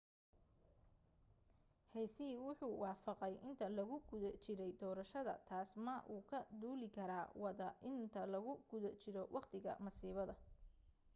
hsieh wuxuu wafaqay inta lagu guda jirey doorashada taas ma uu ka duuli kara wada inta lagu guda jiro waqtiga masiibada